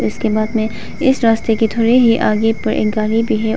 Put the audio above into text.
इसके बाद में इस रास्ते के थोड़े ही आगे पर एक गाड़ी भी है।